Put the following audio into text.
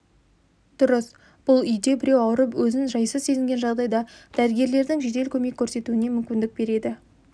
дұрыс бұл үйде біреу ауырып өзін жайсыз сезінген жағдайда дәрігерлердің жедел көмек көрсетуіне мүмкіндік береді